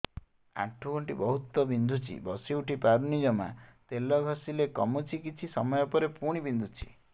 ଆଣ୍ଠୁଗଣ୍ଠି ବହୁତ ବିନ୍ଧୁଛି ବସିଉଠି ପାରୁନି ଜମା ତେଲ ଘଷିଲେ କମୁଛି କିଛି ସମୟ ପରେ ପୁଣି ବିନ୍ଧୁଛି